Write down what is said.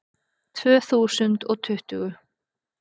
Tvö þúsund og tuttugu